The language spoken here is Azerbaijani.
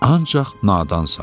Ancaq nadansan.